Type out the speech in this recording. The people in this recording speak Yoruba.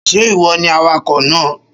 Ṣé ìwọ ni awakọ̀ náà?